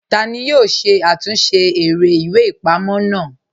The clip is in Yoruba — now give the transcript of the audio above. Tani yoo ṣe àtúnsẹ̀ èrè ìwé-ìpamọ́ naa?